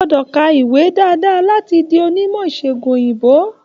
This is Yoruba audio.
O gbọ́dọ̀ ka ìwé dáadáa láti di onímọ̀ ìṣègùn òyìnbó